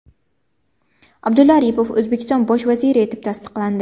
Abdulla Aripov O‘zbekiston bosh vaziri etib tasdiqlandi .